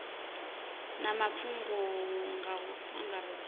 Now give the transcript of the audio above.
na mafhungo nga u angaredza